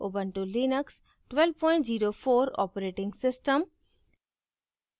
Ubuntu Linux 1204 operating system